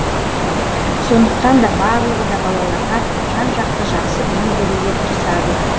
сондықтан да барлығы да балаларға жан жақты жақсы білім беруге тырысады